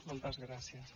moltes gràcies